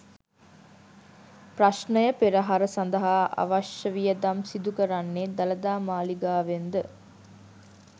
ප්‍රශ්නය පෙරහර සඳහා අවශ්‍ය වියදම් සිදු කරන්නේ දළදා මාලිගාවෙන් ද?